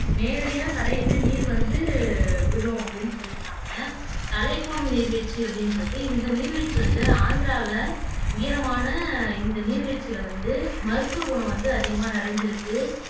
நேரடியா தடையின்றி நீர் வந்து விழும் அப்படின்னு சொல்லிருக்காங்க தலைக்கோன் நீர்வீழ்ச்சி அப்படின்னுருக்கு இந்த நீர்வீழ்ச்சி வந்து ஆந்திரால உயரமான இந்த நீர்வீழ்ச்சில வந்து மருத்துவகுணம் வந்து அதிகமா நிறைஞ்சிருக்கு